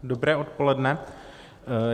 Dobré odpoledne.